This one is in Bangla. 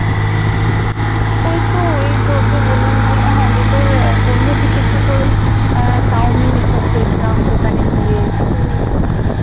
ওইতো এই তোকে বললাম ওখানে হ্যাঁ দিয়ে তোর আহ সন্ধের দিকে একটু তোর ওই আহ চাউমিন এসব খেয়েছিলাম দোকানে গিয়ে